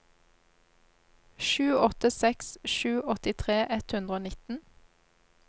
sju åtte seks sju åttitre ett hundre og nitten